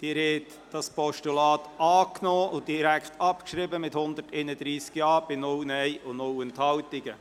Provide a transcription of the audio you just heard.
Sie haben dieses Postulat angenommen und direkt abgeschrieben mit 131 Ja- bei 0 NeinStimmen und 0 Enthaltungen.